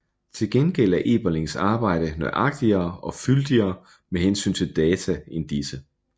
Til gengæld er Elberlings arbejde nøjagtigere og fyldigere med hensyn til data end disse